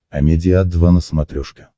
амедиа два на смотрешке